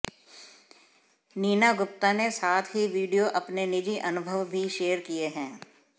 नीना गुप्ता ने साथ ही वीडियो अपने निजी अनुभव भी शेयर किये हैं